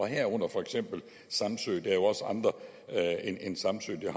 herunder for eksempel samsø er jo også andre end samsø der